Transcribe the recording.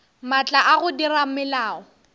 maatla a go dira melao